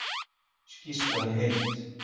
Skýrslan í heild